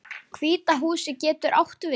Hvíta húsið getur átt við